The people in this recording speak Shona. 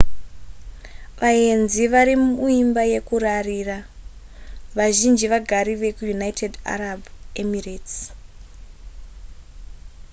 vaenzi varimuimba yekurarira vazhinji vagari vekuunited arab emirates